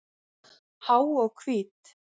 Há og hvít.